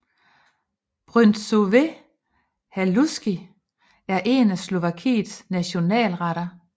Bryndzové halušky er en af Slovakiets nationalretter